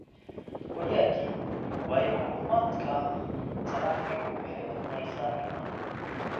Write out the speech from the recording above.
Wayaki way macluumaadka taraafiggu waxay odhanaysaa iman